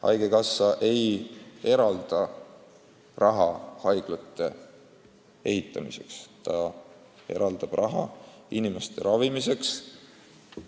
Haigekassa ei eralda raha haiglate ehitamiseks, ta eraldab raha inimeste ravimiseks.